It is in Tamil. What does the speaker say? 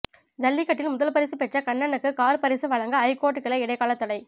ஜல்லிக்கட்டில் முதல் பரிசு பெற்ற கண்ணனுக்கு கார் பரிசு வழங்க ஐகோர்ட் கிளை இடைக்கால தடை